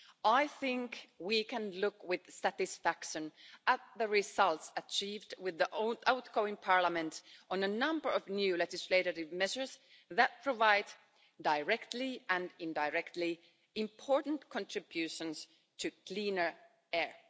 I think we can look with satisfaction at the results achieved with the outgoing Parliament on a number of new legislative measures that provide, directly and indirectly, important contributions to cleaner air.